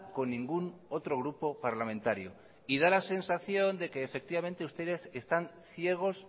con ningún otro grupo parlamentario y da la sensación de que efectivamente ustedes están ciegos